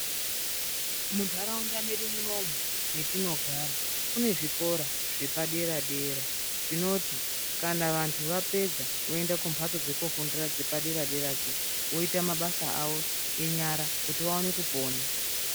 Muntharaunda mwedu munomu metinogara kune zvikora zvepadera dera zvinoti kana vanthu vapedza voende kumbatso dzekoofundira dzepadera deradzo voita mabasa avo enyara kuti vaone kupona.